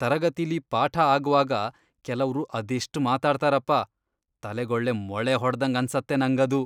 ತರಗತಿಲಿ ಪಾಠ ಆಗ್ವಾಗ ಕೆಲವ್ರು ಅದೆಷ್ಟ್ ಮಾತಾಡ್ತಾರಪ್ಪ, ತಲೆಗೊಳ್ಳೆ ಮೊಳೆ ಹೊಡ್ದಂಗ್ ಅನ್ಸತ್ತೆ ನಂಗದು.